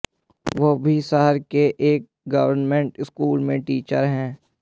वह भी शहर के एक गवर्नमेंट स्कूल में टीचर हैं